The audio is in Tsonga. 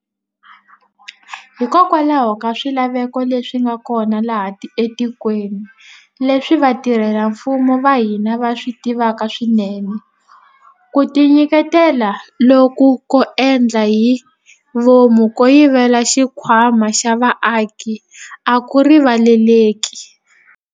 Hikokwalaho ka swilaveko leswi nga kona laha etikweni, leswi vatirhela mfumo va hina va swi tivaka swinene, ku tinyiketela loku ko endla hi vomu ko yivela xikhwama xa vaaki a ku rivaleleki.